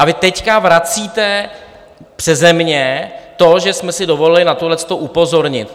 A vy teď vracíte přese mě to, že jsme si dovolili na tohleto upozornit.